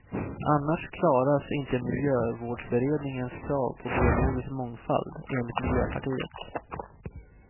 Annars klaras inte miljövårdsberedningens krav på biologisk mångfald, enligt miljöpartiet.